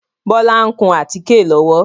Bọlá ń kùn àtíké lọ́wọ́